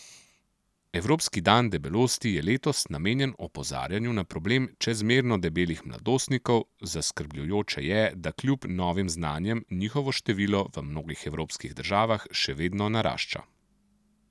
Evropski dan debelosti je letos namenjen opozarjanju na problem čezmerno debelih mladostnikov, zaskrbljujoče je, da kljub novim znanjem, njihovo število v mnogih evropskih državah še vedno narašča.